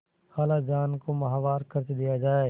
खालाजान को माहवार खर्च दिया जाय